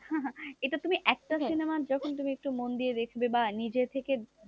এটা তুমি একটা সিনেমার যখন তুমি একটু মন দিয়ে দেখবে বা নিজে থেকে,